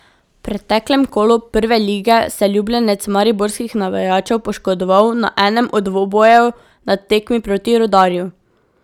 V preteklem kolu Prve lige se je ljubljenec mariborskih navijačev poškodoval na enem od dvobojev na tekmi proti Rudarju.